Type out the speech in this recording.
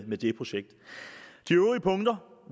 med det projekt de øvrige punkter